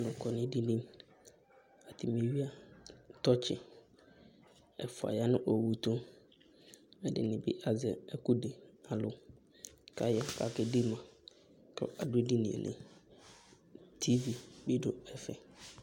Alʋ kɔ nʋ edini Atanɩ eyuǝ tɔtsɩ ; ɛfua ya nʋ owu tʋ, ɛdɩnɩ bɩ azɛ ɛkʋ dɩ kʋ alʋ, kʋ aya kakedema, kʋ adʋ edini yɛ li Tivi bɩ dʋ ɛfɛ